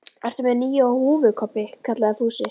Ertu með nýja húfu Kobbi? kallaði Fúsi.